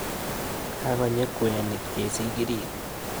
Kakony'i kweenik chesikiriit